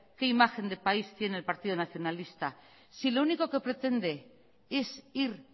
qué imagen de país tiene el partido nacionalista si lo único que pretende es ir